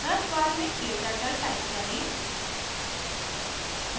search bar में kturtle type करें